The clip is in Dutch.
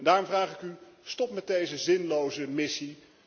Daarom vraag ik u stop met deze zinloze missie.